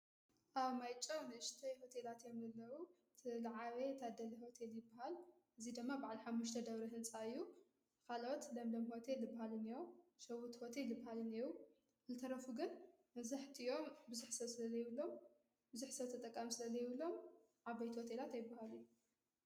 ኣብ ማይጨው ንእሽተይ ሆቴላት እዮም ዘለው እቲ ዝዓበየ ታደል ሆቴል ይባሃል። እዙይ ደማ ባዓል ሓምሽተ ደብሪ ሕንፃ እዩ ኻልኦት ለምለም ሆቴል ዝባሃል እንኦ ሸዊት ሆቴል ዝባሃል እነኦ ዝተረፉ ግን መብዛሕቲኦም ብዙሕ ሰብ ስለ ዘይብሎምብዙሕ ሰብ ተጠቃሚ ስለ ዘይብሎም ዓበይቲ ሆቴላት ኣይባሃሉን።